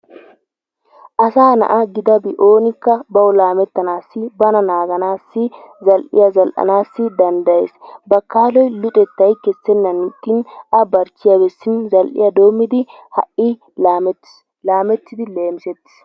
Asa na'a gidabi oonikka bawu laamettanaassi bana naaganaassi zal'iya zal'anaassi danddayees bakkaloy luxxettay kessenan ixxin a barchchiya bessi zaliya doommidi ha'i laamettiis. laamettidi leemissettiis.